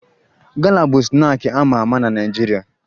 Gala bụ snaakị a ma ama na Naịjirịa